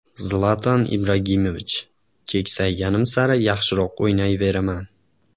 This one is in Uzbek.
Zlatan Ibrahimovich: Keksayganim sari yaxshiroq o‘ynayveraman.